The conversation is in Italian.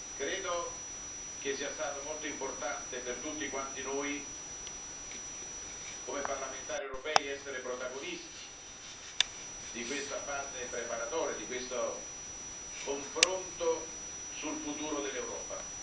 Credo che sia stato molto importante per tutti quanti noi, come parlamentari europei, essere protagonisti di questa fase preparatoria, di questo confronto sul futuro dell'Europa.